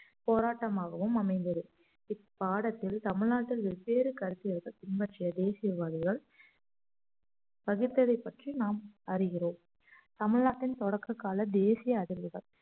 போராட்டமாகவும் அமைந்தது இப்பாடத்தில் தமிழ்நாட்டில் வெவ்வேறு கருத்தியர்கள் பின்பற்றிய தேசியவாதிகள் பகிர்ந்ததைப் பற்றி நாம் அறிகிறோம் தமிழ்நாட்டின் தொடக்ககால தேசிய அதிர்வுகள்